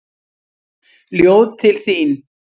Ljóð til þín.